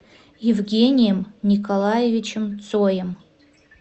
евгением николаевичем цоем